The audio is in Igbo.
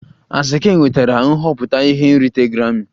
Asake nwetara nhọpụta ihe nrite grammi